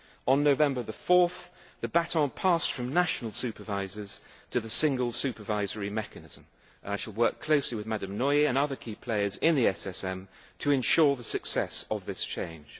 On 4 November, the baton passed from national supervisors to the Single Supervisory Mechanism, and I shall work closely with Ms Nouy and other key players in the SSM to ensure the success of this change.